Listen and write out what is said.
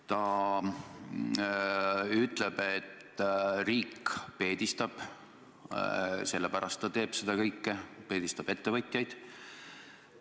Ta ütleb, et riik peedistab – selle pärast ta teeb seda kõike, et riik peedistab ettevõtjaid.